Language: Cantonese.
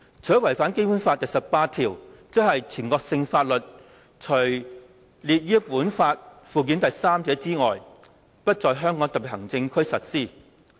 它違反《基本法》第十八條的條文外，即是"全國性法律除列於本法附件三者外，不在香港特別行政區實施。